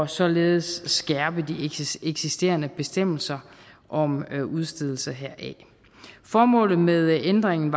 således skærpe de eksisterende bestemmelser om udstedelse heraf formålet med ændringen